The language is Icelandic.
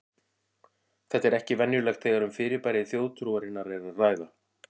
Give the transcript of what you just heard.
Þetta er ekki venjulegt þegar um fyrirbæri þjóðtrúarinnar er að ræða.